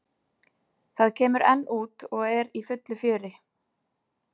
Það kemur enn út og er í fullu fjöri.